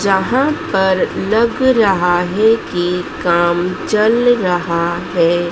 जहां पर लग रहा है कि काम चल रहा हैं।